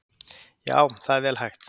Já, það er vel hægt.